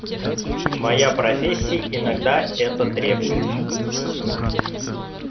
моя профессия иногда это требует